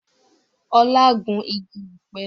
Ọlá gún igi ọ̀pẹ